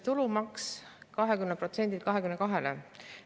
Tulumaks tõstetakse 20%‑lt 22%‑le.